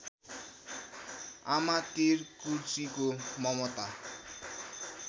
आमातिर कुर्चीको ममता